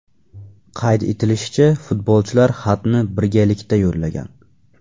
Qayd etilishicha, futbolchilar xatni birgalikda yo‘llagan.